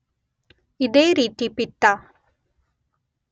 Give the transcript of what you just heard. ಇದೇ ರೀತಿ ಪಿತ್ತ